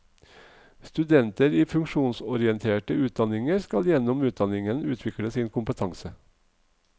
Studenter i funksjonsorienterte utdanninger skal gjennom utdanningen utvikle sin kompetanse.